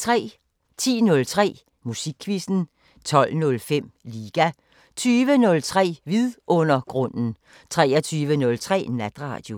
10:03: Musikquizzen 12:05: Liga 20:03: Vidundergrunden 23:03: Natradio